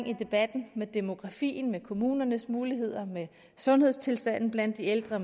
i debatten demografien kommunernes muligheder sundhedstilstanden blandt de ældre